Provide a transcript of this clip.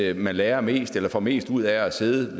at man lærer mest eller får mest ud af at sidde